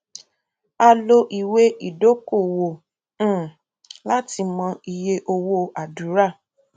a lò ìwé ìdókòwò um láti mọ iye owó àdúrà